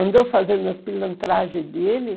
Andou fazendo as pilantragens dele.